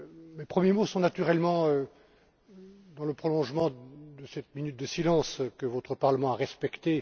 Mes premiers mots sont naturellement dans le prolongement de cette minute de silence que votre Parlement a respecté.